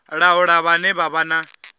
laula vhane vha vha na